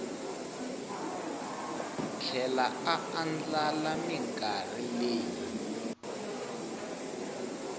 tlhela a andlala minkarhi leyi